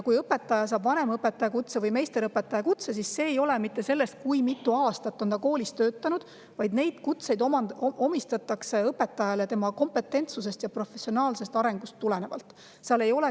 Kui õpetaja saab vanemõpetaja kutse või meisterõpetaja kutse, siis see ei olene sellest, kui mitu aastat ta on koolis töötanud, neid kutseid omistatakse õpetajale tema kompetentsusest ja professionaalsest arengust tulenevalt.